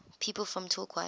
people from torquay